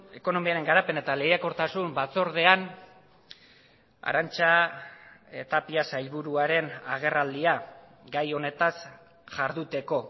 ekonomiaren garapena eta lehiakortasun batzordean arantza tapia sailburuaren agerraldia gai honetaz jarduteko